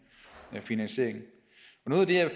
finansiering noget af det jeg